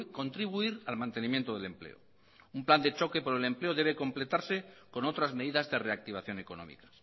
contribuir al mantenimiento del empleo un plan de choque contra el empleo debe completarse con otras medidas de reactivación económica